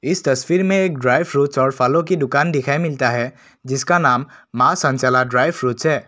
इस तस्वीर में एक ड्राई फ्रूट्स और फलों की दुकान दिखाई मिलता है जिसका नाम मां चंचला ड्राई फ्रूट्स है।